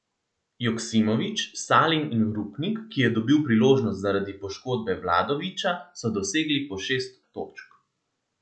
Joksimović, Salin in Rupnik, ki je dobil priložnost zaradi poškodbe Vladovića, so dosegli po šest točk.